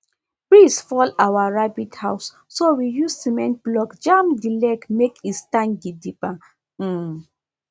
breeze fall our rabbit house so we use cement block jam the leg make e stand gidigba um